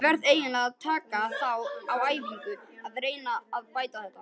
Ég verð eiginlega að taka þá á æfingu og reyna að bæta þetta.